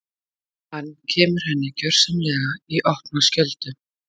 Hann kemur henni gersamlega í opna skjöldu.